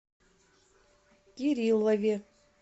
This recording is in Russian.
кириллове